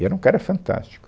E era um cara fantástico.